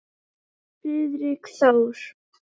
Friðrik Þór.